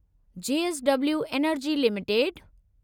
JSW energy limited